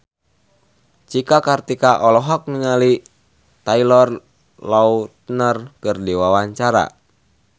Cika Kartika olohok ningali Taylor Lautner keur diwawancara